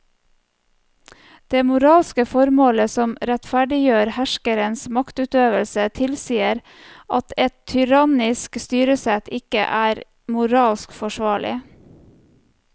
Det moralske formålet som rettferdiggjør herskerens maktutøvelse tilsier at et tyrannisk styresett ikke er moralsk forsvarlig.